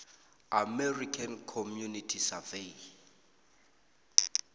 american community survey